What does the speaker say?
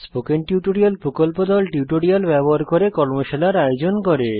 spoken tutorial প্রকল্প দল tutorial ব্যবহার করে কর্মশালার আয়োজন করে